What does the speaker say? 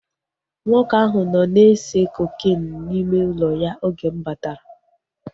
Nwoke ahụ nọ na-ese kokeenu n'ime ụlọ ya oge m batara